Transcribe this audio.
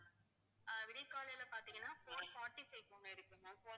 ஆஹ் விடியற்காலையில பாத்தீங்கன்னா four forty-five க்கு ஒண்ணு இருக்கு ma'am